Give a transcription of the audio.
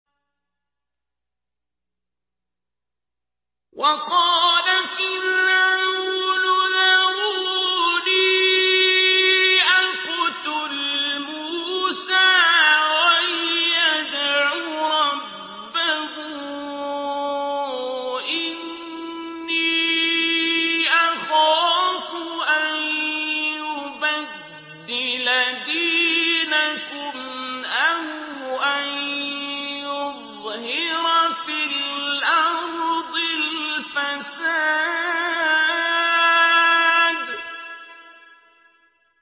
وَقَالَ فِرْعَوْنُ ذَرُونِي أَقْتُلْ مُوسَىٰ وَلْيَدْعُ رَبَّهُ ۖ إِنِّي أَخَافُ أَن يُبَدِّلَ دِينَكُمْ أَوْ أَن يُظْهِرَ فِي الْأَرْضِ الْفَسَادَ